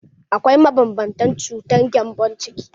Akwai mabanbantan cutar gembon ciki.